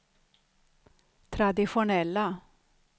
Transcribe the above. traditionella